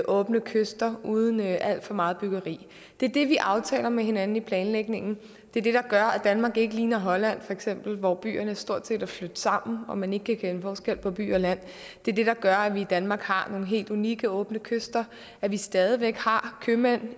åbne kyster uden alt for meget byggeri det er det vi aftaler med hinanden i planlægningen det er det der gør at danmark ikke ligner holland feks hvor byerne stort set er flydt sammen og man ikke kan kende forskel på by og land det er det der gør at vi i danmark har nogle helt unikke åbne kyster at vi stadig væk har købmænd